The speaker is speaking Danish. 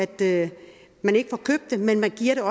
det men man giver